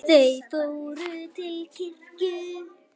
Þau fór til kirkju.